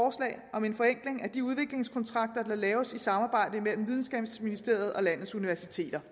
om en forenkling af de udviklingskontrakter der laves i samarbejde mellem videnskabsministeriet og landets universiteter